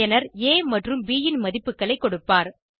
பயனர் ஆ மற்றும் ப் ன் மதிப்புகளை கொடுப்பார்